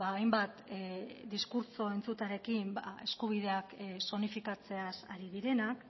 hainbat diskurtso entzutearekin eskubideak zonifikatzeaz ari direnak